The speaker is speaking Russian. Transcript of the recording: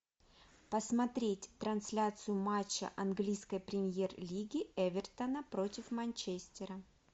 посмотреть трансляцию матча английской премьер лиги эвертона против манчестера